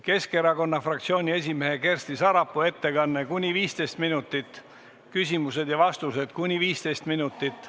Keskerakonna fraktsiooni esimehe Kersti Sarapuu ettekanne on kuni 15 minutit, küsimused ja vastused kuni 15 minutit.